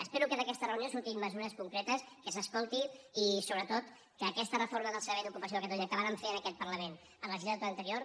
espero que d’aquesta reunió surtin mesures concretes que s’escolti i sobretot que aquesta reforma del servei d’ocupació de catalunya que vàrem fer en aquest parlament en la legislatura anterior